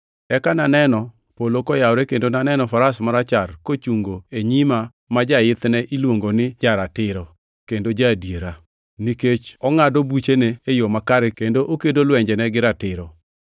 Eka naneno polo koyawore kendo naneno faras marachar kochungo e nyima ma jaithne iluongo ni Ja-ratiro, kendo Ja-adiera. Nikech ongʼado buchene e yo makare kendo okedo lwenjene gi ratiro.